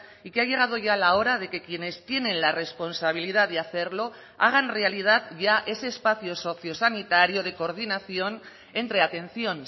y que ha llegado ya la hora de que quienes tienen la responsabilidad de hacerlo hagan realidad ya ese espacio sociosanitario de coordinación entre atención